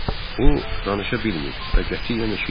O danışa bilmir və qətiyyən eşitmir.